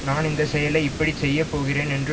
நான் இந்த செயலை இப்படி செய்ய போகிறேன் என்று